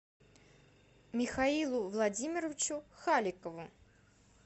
михаилу владимировичу халикову